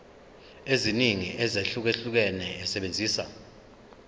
eziningi ezahlukahlukene esebenzisa